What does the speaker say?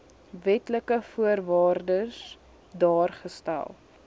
wetlike voorwaardes daargestel